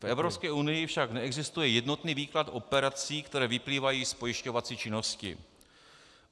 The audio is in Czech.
V Evropské unii však neexistuje jednotný výklad operací, které vyplývají z pojišťovací činnosti.